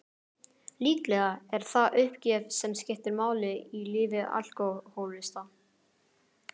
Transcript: Líklega er það uppgjöf sem skiptir máli í lífi alkohólista.